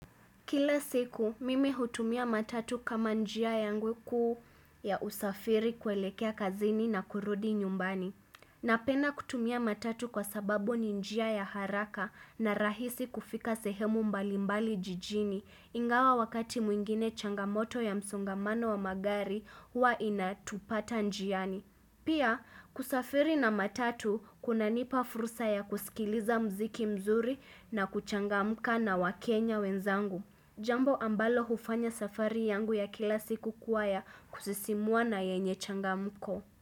Kila siku, mimi hutumia matatu kama njia yangu kuu ya usafiri kuelekea kazini na kurudi nyumbani. Napenda kutumia matatu kwa sababu ni njia ya haraka na rahisi kufika sehemu mbalimbali jijini. Ingawa wakati mwingine changamoto ya msongamano wa magari hua inatupata njiani. Pia, kusafiri na matatu kuna nipa furusa ya kusikiliza muziki mzuri na kuchangamka na wakenya wenzangu. Jambo ambalo hufanya safari yangu ya kila siku kuwa ya kusisimua na yenye changamko.